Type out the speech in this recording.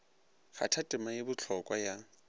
kgatha tema ye bohlokwa ya